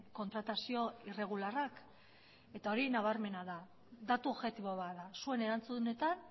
kontratazio irregularrak eta hori nabarmena da datu objektibo bat da zuen erantzunetan